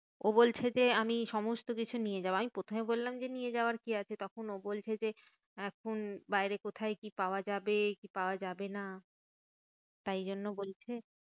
ও বলছে যে আমি সমস্ত কিছু নিয়ে যাবো। আমি প্রথমে বললাম যে, নিয়ে যাওয়ার কি আছে? তখন ও বলছে যে, এখন বাইরে কোথায় কি পাওয়া যাবে কি পাওয়া যাবে না। তাই জন্য বলছে,